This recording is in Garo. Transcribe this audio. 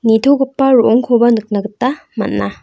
nitogipa ro·ongkoba nikna gita man·a.